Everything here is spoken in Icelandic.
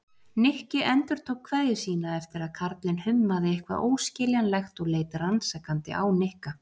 Nikki endurtók kveðju sína eftir að karlinn hummaði eitthvað óskiljanlegt og leit rannsakandi á Nikka.